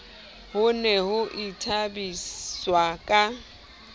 ho ne ho ithabiswa ka